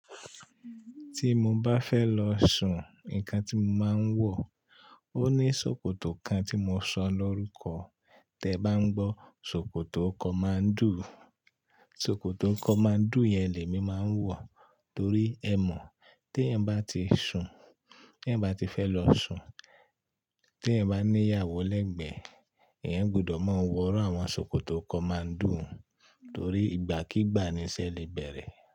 Tí mo bá fẹ́ lọ sùn, nǹkan tí mo máa ń wọ̀, ó ní ṣòkòtò kan tí mo sọ lórúkọ. Tẹ bá ń gbọ́, ṣòkòtò come and do! Ṣòkòtò come and do yẹn lèmi máa ń wọ̀ torí ẹ mọ̀ t'èèyàn bá ti sùn, t'èèyàn bá ti fẹ́ lọ sùn, t'èèyàn bá ní ìyàwó lẹ́gbẹ̀ẹ́, èyàn gbudọ̀ máa wọ irú àwọn ṣòkòtò come and do torí ìgbàkígbà ni iṣẹ́ lè bẹ̀rẹ̀.